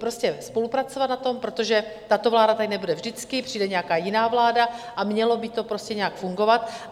Prostě spolupracovat na tom, protože tato vláda tady nebude vždycky, přijde nějaká jiná vláda, a mělo by to prostě nějak fungovat.